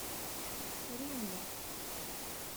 римму